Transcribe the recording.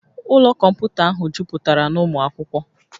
Ụlọ kọmputa ahụ jupụtara na ụmụ akwụkwọ